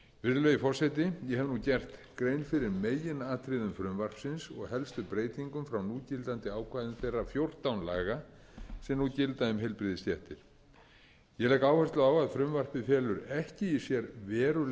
virðulegi forseti ég hef nú gert grein fyrir meginatriðum frumvarpsins og helstu breytingum frá núgildandi ákvæðum þeirra fjórtán laga sem nú gilda um heilbrigðisstéttir ég legg áherslu á að frumvarpið felur ekki í sér verulegar